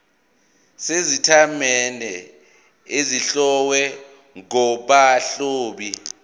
sezitatimende ezihlowe ngabahloli